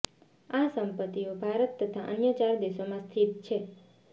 આ સંપત્તિઓ ભારત તથા અન્ય ચાર દેશોમાં સ્થિત છે